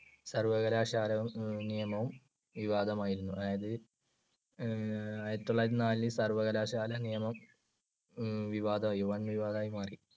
സർവകലാശാല നിയമവും വിവാദമായിരുന്നു. അതായതു അഹ് ആയിരത്തിതൊള്ളായിരത്തിനാലിൽ സർവകലാശാല നിയമം വിവാദമായി, വൻവിവാദമായി മാറി.